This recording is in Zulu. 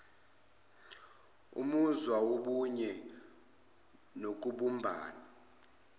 umuzwa wobunye nokubumbana